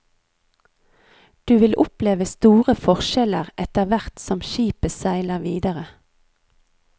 Du vil oppleve store forskjeller etterhvert som skipet seiler videre.